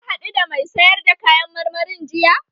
Ka haɗu da mai sayar da kayan marmarin jiya?